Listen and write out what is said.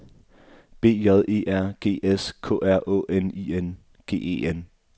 B J E R G S K R Å N I N G E N